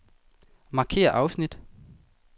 Markér afsnit.